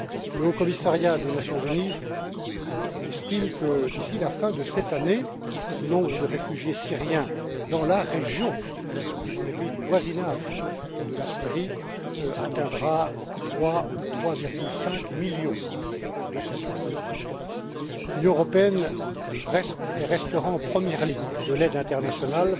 Le HCR estime que, d'ici la fin de cette année, le nombre de réfugiés syriens dans la région, dans les pays du voisinage de la Syrie, atteindra 3 ou 3,5 millions de citoyens. L'Union européenne reste et restera en première ligne de l'aide internationale